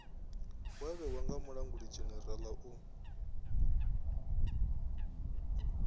wa vhewa nga mulangulidzhenerala u